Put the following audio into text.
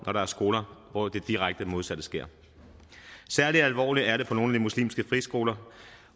når der er skoler hvor det direkte modsatte sker særlig alvorligt er det på nogle af de muslimske friskoler